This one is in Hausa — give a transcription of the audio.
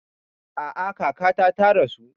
A'a kakata ta rasu